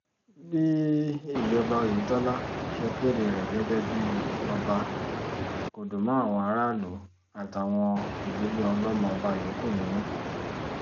bí ìjọba oyetola ṣe kéde rẹ̀ gẹ́gẹ́ bíi ọba kò dùn mọ́ àwọn aráàlú àtàwọn ìdílé ọlọ́mọọba yòókù nínú